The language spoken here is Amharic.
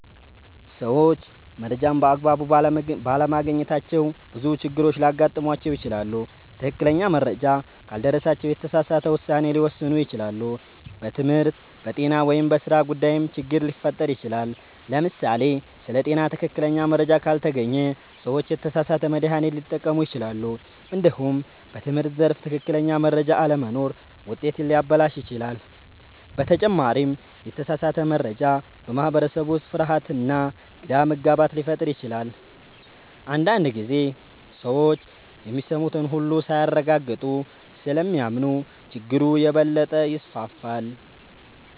ሰዎች መረጃን በአግባቡ ባለማግኘታቸው ብዙ ችግሮች ሊያጋጥሟቸው ይችላሉ። ትክክለኛ መረጃ ካልደረሳቸው የተሳሳተ ውሳኔ ሊወስኑ ይችላሉ፣ በትምህርት፣ በጤና ወይም በሥራ ጉዳይም ችግር ሊፈጠር ይችላል። ለምሳሌ ስለ ጤና ትክክለኛ መረጃ ካልተገኘ ሰዎች የተሳሳተ መድሃኒት ሊጠቀሙ ይችላሉ። እንዲሁም በትምህርት ዘርፍ ትክክለኛ መረጃ አለመኖር ውጤትን ሊያበላሽ ይችላል። በተጨማሪም የተሳሳተ መረጃ በማህበረሰብ ውስጥ ፍርሃትና ግራ መጋባት ሊፈጥር ይችላል። አንዳንድ ጊዜ ሰዎች የሚሰሙትን ሁሉ ሳያረጋግጡ ስለሚያምኑ ችግሩ የበለጠ ይስፋፋል።